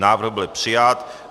Návrh byl přijat.